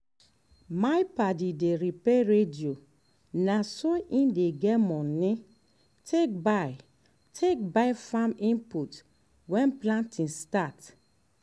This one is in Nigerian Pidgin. my padi dey repair radio na so e dey get money take buy take buy farm input when planting start